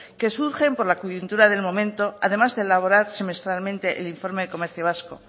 que surgen por la coyuntura del momento además de elaborar semestralmente el informe del comercio vasco